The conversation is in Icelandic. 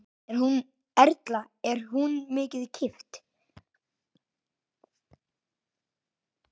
Erla: Er hún mikið keypt?